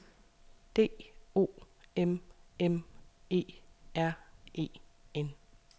D O M M E R E N